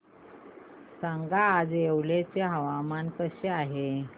सांगा आज येवला चे हवामान कसे आहे